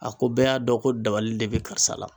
A ko bɛɛ y'a dɔ ko dabali de be karisa la